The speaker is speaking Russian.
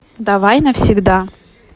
давай навсегда